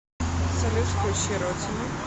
салют включи ротими